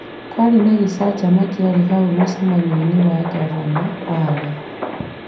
Kũarĩ na gĩcanjama kĩarĩ hau mũcemanio-inĩ wa ngavana warĩ.